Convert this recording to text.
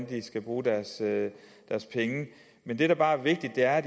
de skal bruge men det der bare er vigtigt er